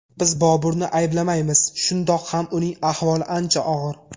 Biz Boburni ayblamaymiz, shundoq ham uning ahvoli ancha og‘ir.